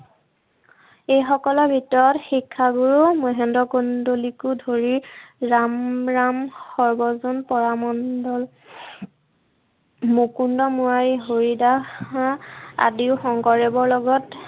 এইসকলৰ ভিতৰত শিক্ষাগুৰু মহেন্দ্ৰ কন্দলিকো ধৰি ৰামৰাম, সৰ্বজন, পৰামন্দল মুকুণ্ড, মুৰাৰি, হৰিদাস আদিও শংকৰদেৱৰ লগত